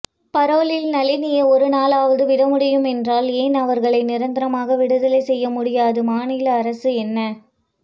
பரோலில் நளினியை ஒருநாளாவது விடமுடியும் என்றால் ஏன் அவர்களை நிரந்தரமாக விடுதலை செய்ய முடியாது மாநில அரசு என்ன